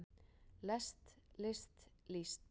lest list líst